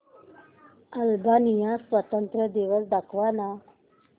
Albania स्वातंत्र्य दिवस दाखव ना